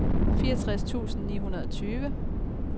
fireogtres tusind ni hundrede og tyve